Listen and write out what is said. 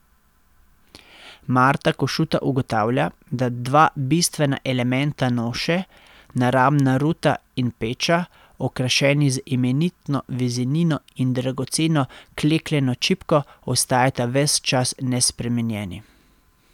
Marta Košuta ugotavlja, da dva bistvena elementa noše, naramna ruta in peča, okrašeni z imenitno vezenino in dragoceno klekljano čipko, ostajata ves čas nespremenjeni.